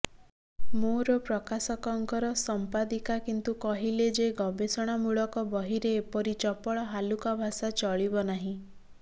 ମୋର ପ୍ରକାଶକଙ୍କର ସଂପାଦିକା କିନ୍ତୁ କହିଲେ ଯେ ଗବେଷଣାମୂଳକ ବହିରେ ଏପରି ଚପଳ ହାଲୁକା ଭାଷା ଚଳିବ ନାହିଁ